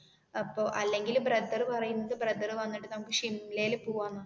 അപ്പോൾ അല്ലെങ്കിൽ ബ്രദർ പറയുന്നത് ബ്രദർ വന്നിട്ട് നമുക്ക് ഷിംലയിൽ പോവാന്